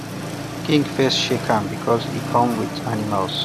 king first shake am because e come with animals